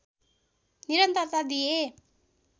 निरन्तरता दिए